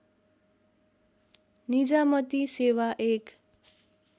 निजामती सेवा एक